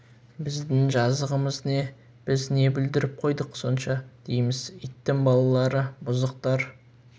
біздің жазығымыз не біз не бүлдіріп қойдық сонша дейміз иттің балалары бұзықтар